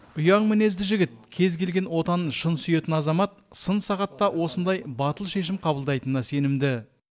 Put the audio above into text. ұяң мінезді жігіт кез келген отанын шын сүйетін азамат сын сағатта осындай батыл шешім қабылдайтынына сенімді